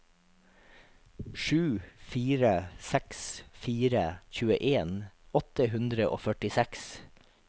sju fire seks fire tjueen åtte hundre og førtiseks